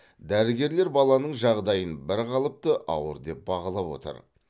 дәрігерлер баланың жағдайын бірқалыпты ауыр деп бағалап отыр